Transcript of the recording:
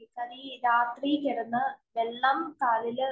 തനിയെ രാത്രി കിടന്നു വെള്ളം കാലില്